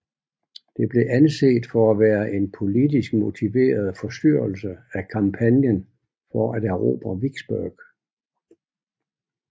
Det blev anset for at være en politisk motiveret forstyrrelse af kampagnen for at erobre Vicksburg